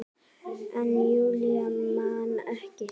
En Júlía man ekki.